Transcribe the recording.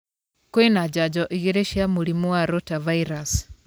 Kwĩna njanjo igĩrĩ cia mũrimũ wa rotavirus.